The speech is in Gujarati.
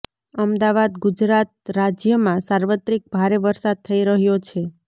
અમદાવાદઃ ગુજરાત રાજ્યમાં સાર્વત્રિક ભારે વરસાદ થઈ રહ્યો છે